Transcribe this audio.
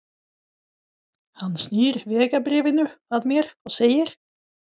Hann snýr vegabréfinu að mér og segir